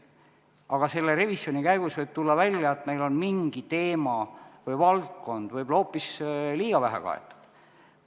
Aga selle revisjoni käigus võib tulla välja, et meil on mingi teema või valdkond hoopis liiga vähe kaetud.